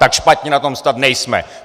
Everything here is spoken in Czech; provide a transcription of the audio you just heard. Tak špatně na tom snad nejsme!